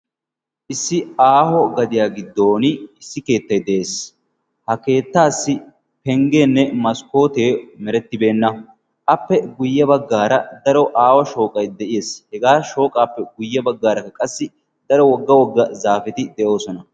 Issi aaho gadiyaa giddon issi keettai de'ees. ha keettaassi penggeenne maskkootee merettibeenna appe guyye baggaara daro aawa shooqai de'ees. hegaa shooqaappe guyye baggaaraka qassi daro wogga wogga zaafeti de'oosona.